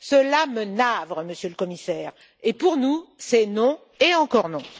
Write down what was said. Cela me navre, Monsieur le Commissaire, et pour nous, c'est non et encore non.